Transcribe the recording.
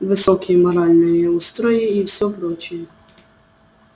высокие моральные устои и всё прочее